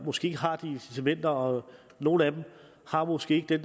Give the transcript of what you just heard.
måske ikke har de incitamenter og nogle af dem har måske ikke den